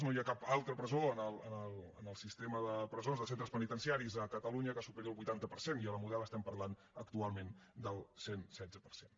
no hi ha cap altra presó en el sistema de presons de centres penitenciaris a catalunya que superi el vuitanta per cent i a la model estem parlant actualment del cent i setze per cent